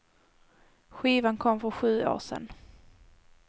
Skivan kom för sju år sen.